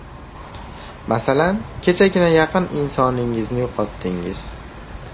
Masalan, kechagina yaqin insoningizni yo‘qotdingiz.